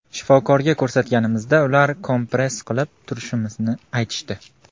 Shifokorga ko‘rsatganimizda ular kompress qilib turishimizni aytishdi.